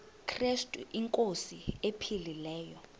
krestu inkosi ephilileyo